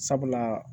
Sabula